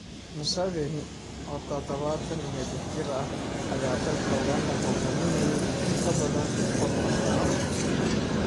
Museveni, oo tadabatan iyo lix jir ah, ayaa dalka Uganda hoggaaminayay in ka badan soddon sano.